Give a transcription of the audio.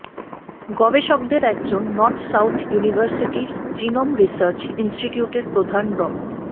গবেষকদের একজন North South ইউনিভার্সিটির জিনোম রিসার্চ ইনস্টিটিউটের প্রধান ড